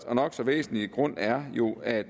og nok så væsentlige grund er jo at